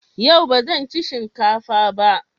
Yau ba zan ci shinka fa ba.